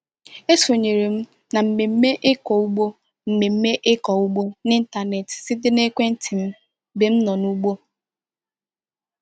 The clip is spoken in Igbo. E sonyere m na mmemme ịkụ ugbo mmemme ịkụ ugbo n'ịntanetị site na ekwentị m mgbe m nọ n'ugbo.